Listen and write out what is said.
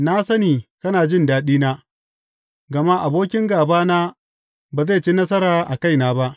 Na sani kana jin daɗina, gama abokin gābana ba zai ci nasara a kaina ba.